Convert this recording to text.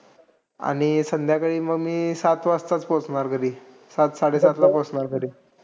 आणि संध्याकाळी मग मी सात वाजताच पोचणार घरी. सात-साडेसातला पोचणार घरी.